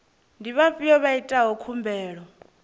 ndi vhafhio vha itaho khumbelo